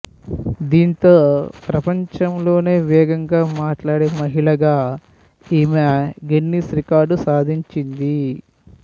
దీంతో ప్రపంచంలోనే వేగంగా మాట్లాడే మహిళగా ఈమె గిన్నిస్ రికార్డు సాధించింది